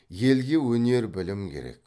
елге өнер білім керек